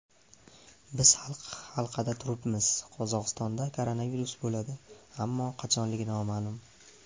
Biz halqada turibmiz, Qozog‘istonda koronavirus bo‘ladi, ammo qachonligi noma’lum.